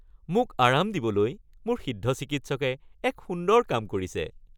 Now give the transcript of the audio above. মোক আৰাম দিবলৈ মোৰ সিদ্ধ চিকিৎসকে এক সুন্দৰ কাম কৰিছে